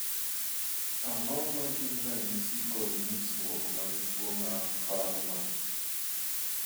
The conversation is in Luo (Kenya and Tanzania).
Ang'o ma gin ranyisi kod nyisruok mag tuo mar Fuhrmann?